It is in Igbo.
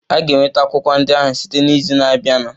A ga-enweta akwụkwọ ndị ahụ site n'izu na-abịanụ.